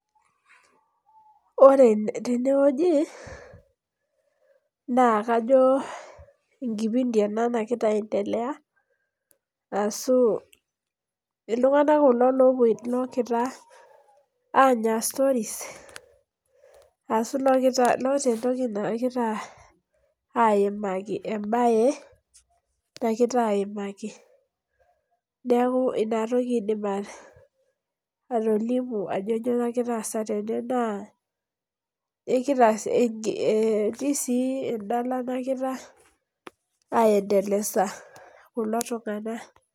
Ore tenewueji, naa kajo enkipindi ena nakita aendelea, asu iltung'anak kulo lokita anya stories, asu loota entoki nakita aimaki. Ebae, nakita aimaki. Neeku inatoki aidim atolimu, ajo nyoo nagira aasa tene naa etii si eldala nakira, aendelesa kulo tung'anak.